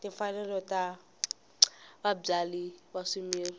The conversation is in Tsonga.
timfanelo ta vabyali va swimila